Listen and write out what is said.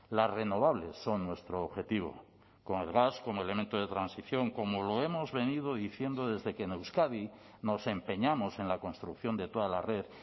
las renovables son nuestro objetivo con el gas como elemento de transición como lo hemos venido diciendo desde que en euskadi nos empeñamos en la construcción de toda la red